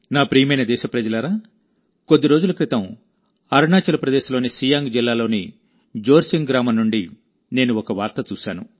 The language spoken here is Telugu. నా ప్రియమైన దేశప్రజలారాకొద్ది రోజుల క్రితం అరుణాచల్ ప్రదేశ్లోని సియాంగ్ జిల్లాలోని జోర్సింగ్ గ్రామం నుండి నేను ఒక వార్త చూశాను